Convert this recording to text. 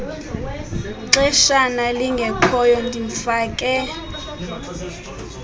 xeshana lingekhoyo ndimfake